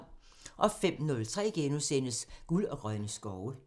05:03: Guld og grønne skove *